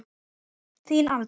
Þín Alda.